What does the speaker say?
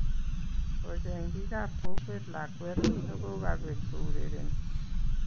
Kocheng bikap kokwet lakwet nogokabet kourereni